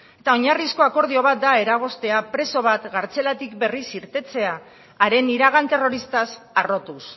eta oinarrizko akordio bat da eragoztea preso bat kartzelatik berriz irtetea haren iragan terroristaz harrotuz